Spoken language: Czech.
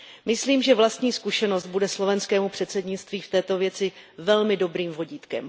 Myslím, že vlastní zkušenost bude slovenskému předsednictví v této věci velmi dobrým vodítkem.